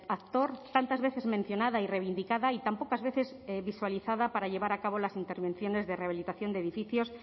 actor tantas veces mencionada y reivindicada y tan pocas veces visualizada para llevar a cabo las intervenciones de rehabilitación de edificios